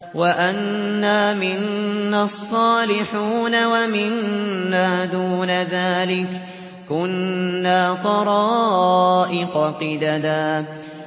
وَأَنَّا مِنَّا الصَّالِحُونَ وَمِنَّا دُونَ ذَٰلِكَ ۖ كُنَّا طَرَائِقَ قِدَدًا